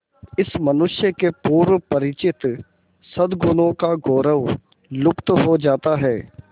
इस मनुष्य के पूर्व परिचित सदगुणों का गौरव लुप्त हो जाता है